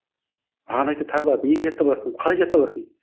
маған айтады таңғалады неге жаттап аласың қалай жаттап аласың дейді